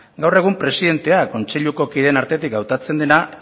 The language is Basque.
gaur egun presidentea kontseiluko kideen artetik hautatzen dena